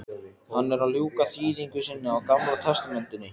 Hann er að ljúka þýðingu sinni á gamla testamentinu.